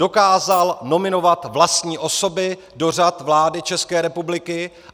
Dokázal nominovat vlastní osoby do řad vlády České republiky.